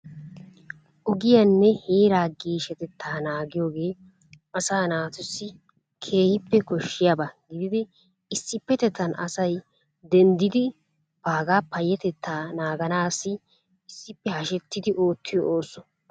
Ogiyanne heeraa geeshshsatettaa nanggiyogee asaa naatussi keehippe koshshiyaba gididi issippetettan asay denddidi baagaa payyatettaa naaganaassi issippe hashettidi oottiyo ooso.